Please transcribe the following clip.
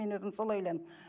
мен өзім солай ойлаймын